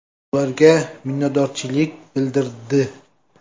Ularga minnatdorchilik bildirdi.